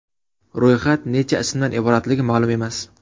Ro‘yxat necha ismdan iboratligi ma’lum emas.